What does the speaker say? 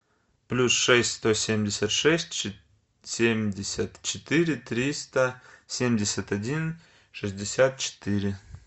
плюс шесть сто семьдесят шесть семьдесят четыре триста семьдесят один шестьдесят четыре